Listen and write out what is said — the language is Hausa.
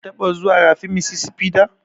Ka taɓa zuwan rafin Mississipi da?